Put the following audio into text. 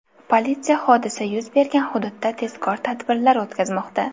Politsiya hodisa yuz bergan hududda tezkor tadbirlar o‘tkazmoqda.